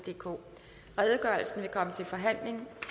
vil komme til forhandling